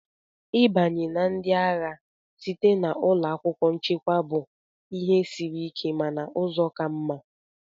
Ịbanye na ndị agha site na ụlọ akwụkwọ nchekwa bụ ihe siri ike mana ụzọ ka mma.